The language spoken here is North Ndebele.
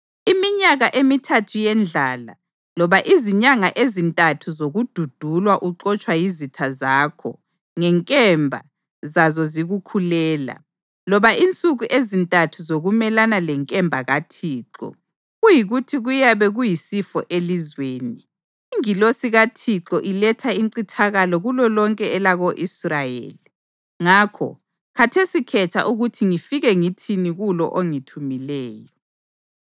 iminyaka emithathu yendlala, loba izinyanga ezintathu zokududulwa uxotshwa yizitha zakho, ngenkemba zazo zikukhulela, loba insuku ezintathu zokumelana lenkemba kaThixo, kuyikuthi kuyabe kuyisifo elizweni, ingilosi kaThixo iletha incithakalo kulolonke elako-Israyeli.’ Ngakho, khathesi khetha ukuthi ngifike ngithini kulo ongithumileyo.”